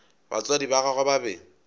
batswadi ba gagwe ba be